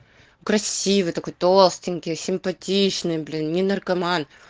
красивый такой толстенький симпатичный блин не наркоман